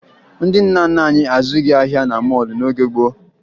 Ndị nna nna anyị azụghị ahịa na mọọlụ n'oge gboo